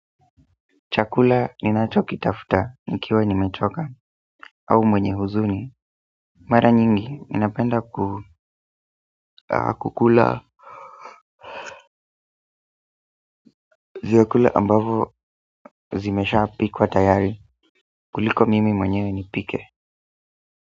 Chakula ninacho kitafuta nikiwa nimechoka au mwenye huzuni mara nyingi ninapenda kukula ziwekula ambavo zimesha piku wa tayari kuliko mimi mwenyewe nipike.